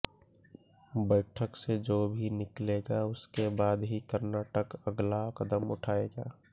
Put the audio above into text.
बैठक से जो भी निकलेगा उसके बाद ही कर्नाटक अगला कदम उठाएगा